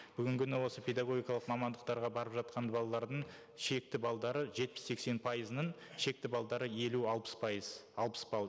бүгінгі күні осы педагогикалық мамандықтарға барып жатқан балалардың шекті баллдары жетпіс сексен пайызының шекті баллдары елу алпыс пайыз алпыс балл